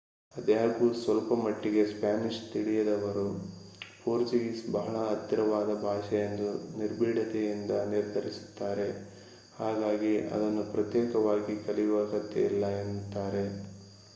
ಅದಾಗ್ಯು ಸ್ವಲ್ಪ ಮಟ್ಟಿಗೆ ಸ್ಪಾನಿಷ್ ತಿಳಿದವರು ಪೋರ್ಚುಗೀಸ್ ಬಹಳ ಹತ್ತಿರವಾದ ಭಾಷೆ ಎಂದು ನಿರ್ಬೀಢತೆಯಿಂದ ನಿರ್ಧರಿಸುತ್ತಾರೆ ಹಾಗಾಗಿ ಅದನ್ನು ಪ್ರತ್ಯೇಕವಾಗಿ ಕಲಿಯುವ ಅಗತ್ಯವಿಲ್ಲ ಎನ್ನುತ್ತಾರೆ